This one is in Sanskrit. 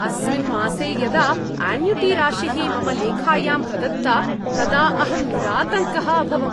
अस्मिन् मासे यदा आन्यूटिराशिः मम लेखायां प्रदत्ता तदा अहं निरातङ्कः अभवम्।